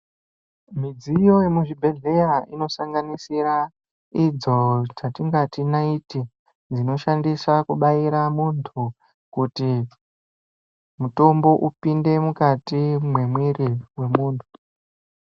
Midziyo yemu zvibhedhleya ino sanganisira idzo dzatingati naiti dzino shandiswa kubaira muntu kuti mutombo upinde mukati me mwiri we muntu.